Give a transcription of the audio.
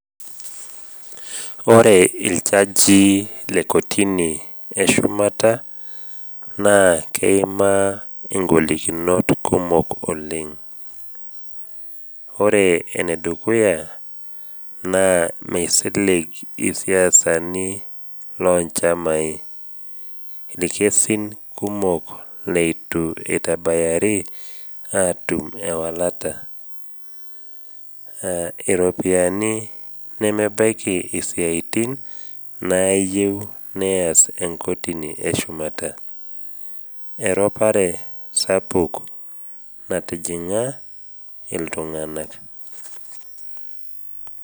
Ore iljajii le kotini e shumata naa keimaa ingolikinot kumok oleng, ore enedukuya naa meisilig isiasani loonchamai, ilkesin kumok leitu eitabayari atum ewalata, iropiani nemebaiki isiaitin nayeu neas enkotini e shumata, eropare sapuk natijing’a iltung’ana.